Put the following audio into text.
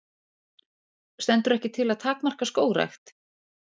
Stendur ekki til að takmarka skógrækt